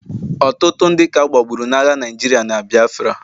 Ọtụtụ ndị ka agbagburu n'agha Naịjirịa na Biafra